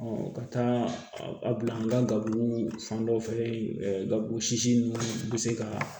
ka taa a bila n ka garibu fan dɔ fɛ gaburugu sisi nunnu bɛ se ka